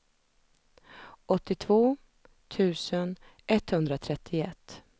åttiotvå tusen etthundratrettioett